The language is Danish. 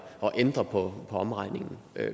at ændre på omregningen